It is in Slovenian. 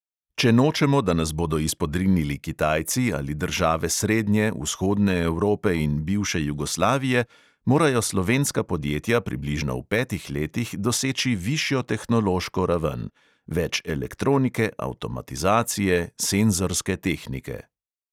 Če nočemo, da nas bo do izpodrinili kitajci ali države srednje, vzhodne evrope in bivše jugoslavije, morajo slovenska podjetja približno v petih letih doseči višjo tehnološko raven: več elektronike, avtomatizacije, senzorske tehnike ...